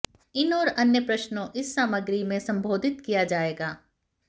इन और अन्य प्रश्नों इस सामग्री में संबोधित किया जाएगा